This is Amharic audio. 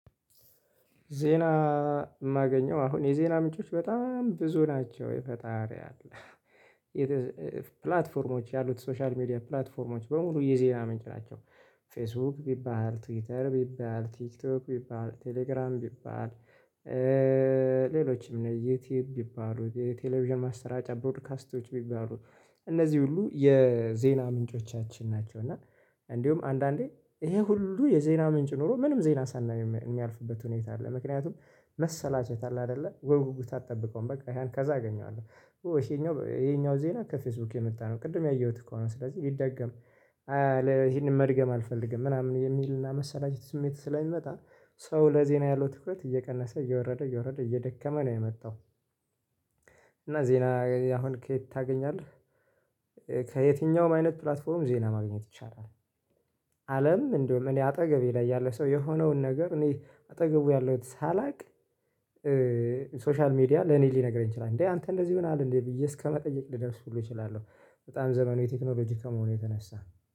ዜና። የማገኘው አሁን የዜና ምንጮች በጣም ብዙ ናቸው የፈጣሪ ያለ ፕላትፎርሞች ያሉት ሶሻል ሚዲያ ፕላትፎርሞች በሙሉ የዜና ምንጭ ናቸው። ፌስቡክ ቢባል ትዊተር ቢባል ቲክቶክ ቢባል ቴሌግራም ቢባል። ሌሎችም እነ ዩቲዩብ ቢባሉ የቴሌቪዥን ማሰራጫ ቦድካስቶች ቢባሉ። እነዚህ ሁሉ የዜና ምንጮቻችን ናቸው። እና እንዲሁም አንዳንዴ ይሄ ሁሉ የዜና ምንጭ ኖሮ ምንም ዜና ሳናይ የሚያልፍበት ሁኔታ አለ። ምክንያቱም መሰላቸት አለ አይደለ ወይ በጉጉት አትጠብቀውም በቃ ከዛ አገኛለሁ ወይስ ይሄኛው ይሄኛው ዜና ከፌስቡክ የመጣ ነው። ቅድም ያየሁት እኮ ነው ስለዚህ ቢደገም። ይሄንን መድገም አልፈልግም ምናምን የሚልና መሰላችት ስሜት ስለሚመጣ ሰው ለዜና ያለው ትኩረት እየቀነሰ እየወረደ እየወረደ እየደከመ ነው የመጣው። እና ዜና አሁን ከየት ታገኛለህ? ከየትኛውም አይነት ፕላትፎርም ዜና ማግኘት ይቻላል። አለም እንደውም እኔ አጠገቤ ላይ ያለ ሰው የሆነውን ነገር እኔ አጠገቡ ያለሁት ሳላውቅ። ሶሻል ሚዲያ ለኔ ሊነግረኝ ይችላል እንዴ? አንተ እንደዚህ ሆነሃል እንዴ? ብዬ እስከመጠየቅ ልደርስ ሁሉ እችላለሁ። በጣም ዘመኑ የቴክኖሎጂ ከመሆኑ የተነሳ